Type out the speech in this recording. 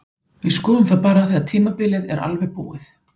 Við skoðum það bara þegar tímabilið er alveg búið.